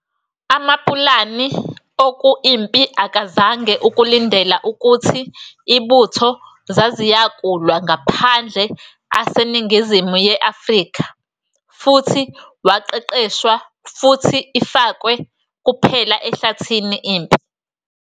Amapulani Oku-impi akazange ukulindela ukuthi ibutho zaziyakulwa ngaphandle aseningizimu ye-Afrika futhi waqeqeshwa futhi ifakwe kuphela ehlathini impi.